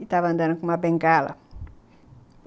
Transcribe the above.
e estava andando com uma bengala.